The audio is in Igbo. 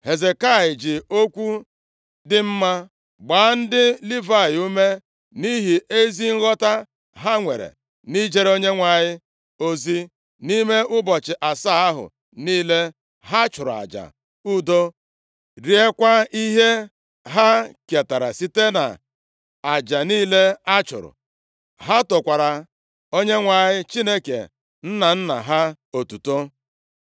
Hezekaya ji okwu dị mma gbaa ndị Livayị ume nʼihi ezi nghọta ha nwere nʼijere Onyenwe anyị ozi. Nʼime ụbọchị asaa ahụ niile, ha chụrụ aja udo, riekwa ihe ha ketara site nʼaja niile a chụrụ. Ha tokwara Onyenwe anyị Chineke nna nna ha otuto.